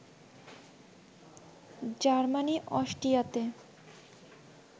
Germany অস্ট্রিয়াতে